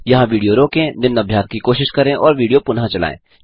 यहाँ विडियो रोकें निम्न अभ्यास की कोशिश करें और विडियो पुनः चलायें